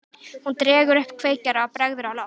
Hún dregur upp kveikjara og bregður á loft.